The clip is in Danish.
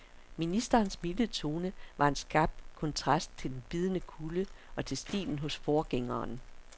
Ministerens milde tone var en skarp kontrast til den bidende kulde og til stilen hos forgængeren.